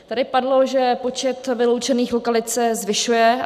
Tady padlo, že počet vyloučených lokalit se zvyšuje.